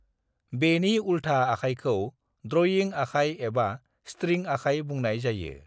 बेनि उल्था आखायखौ ड्रइं आखाय एबा स्ट्रिं आखाय बुंनाय जायो।